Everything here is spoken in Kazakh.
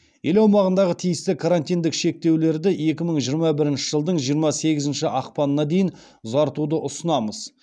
ел аумағындағы тиісті карантиндік шектеулерді екі мың жиырма бірінші жылдың жиырма сегізінші ақпанына дейін ұзартуды ұсынамыз